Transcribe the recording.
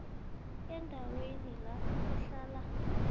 endaweni la kuhlala